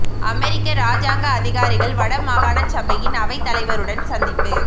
அமெரிக்க இராஜாங்க அதிகாரிகள் வடமாகாண சபையின் அவை தலைவருடன் சந்திப்பு